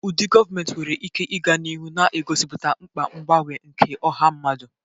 Ụdị gọọmentị nwere ike ịga n'ihu na-egosipụta mkpa mgbanwe nke ọha mmadụ.